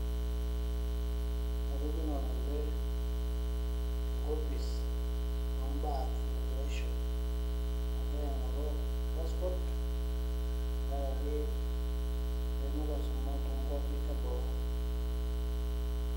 Atijing'a ngole enkopis oombaa e immigration agira aing'oru passport tenkaraki ayieu nalo aisuma toonkuapi eboo.